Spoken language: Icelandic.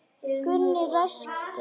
Gunni ræskti sig.